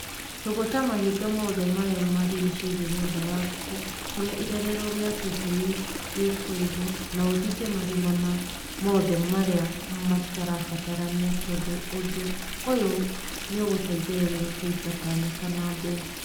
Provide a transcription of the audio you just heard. Tũgũta mahinga mothe marĩa marigicĩirie nyũmba ya ngũkũ kũrĩa irerero rĩa tũcui rĩkũigwo na ũthinge marima mothe marĩa matarabatarania tondũ ũndũ ũyũ nĩũgũteithĩrĩria kũingata nyoka na mbĩya.